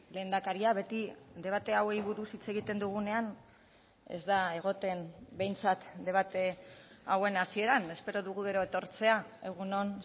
lehendakaria beti debate hauei buruz hitz egiten dugunean ez da egoten behintzat debate hauen hasieran espero dugu gero etortzea egun on